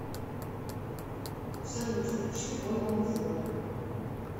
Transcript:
салют включи вольному воля